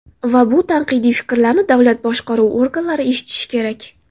Va bu tanqidiy fikrlarni davlat boshqaruvi organlari eshitishi kerak.